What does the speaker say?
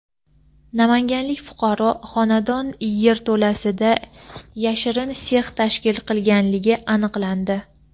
Namanganlik fuqaro xonadon yerto‘lasida yashirin sex tashkil qilganligi aniqlandi.